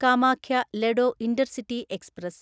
Kamakhya Ledo intercity express